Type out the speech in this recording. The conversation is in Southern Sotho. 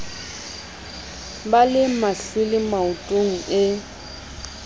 ba le mahlwele maotong e